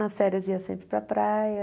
Nas férias ia sempre para a praia.